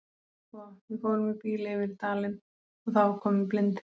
Sko, við fórum í bíl yfir í dalinn og það var komin blindhríð.